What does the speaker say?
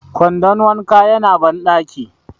kwandon wanka yana bandaki